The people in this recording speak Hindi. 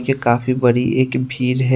ये काफी बड़ी एक भीड़ है।